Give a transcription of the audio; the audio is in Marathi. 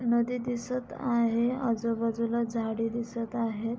नदी दिसत आहे. अजूबाजुला झाडे दिसत आहेत.